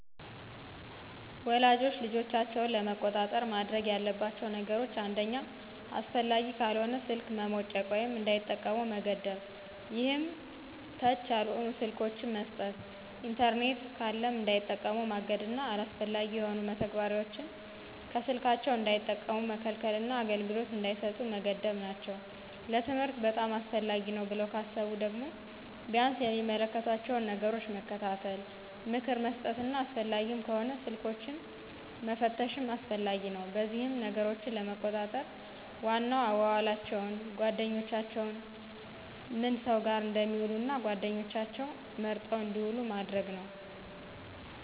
ወላጆች ልጆቻቸውን ለመቆጣጠር ማድረግ ያለባቸው ነገሮች አንደኛ አስፈላጊ ካልሆነ ስልክ መሞጨቅ ወይም እንዳይጠቀሙ መገደብ ይሄም ተች ያልሆኑ ስልኮችን መስጠት። ኢንተርኔት ካለም እንዳይጠቀሙ ማገድና አላስፈላጊ የሆኑ መተግበሪያዎችን ከስልካቸው እንዳይጠቀሙ መከልከልና አገልግሎት እንዳይሰጡ መገደብ ናቸው። ለትምህርት በጣም አስፈላጊ ነው ብለው ካሰቡ ደግሞ ቢያንስ የሚመለከቷቸውን ነገሮች መከታተል፣ ምክር መስጠትና አስፈላጊም ከሆነ ስልኮችንን መፈተሽም አስፈላጊ ነው። በዚህም ነገሮችን ለመቆጣጠር ዋናው አዋዋላቸውን፣ ጓደኛቸውንና ምን ሰው ጋር እንደሚውሉ እና ጓደኛቸውም መርጠው እንድውሉ ማድረግ ነው።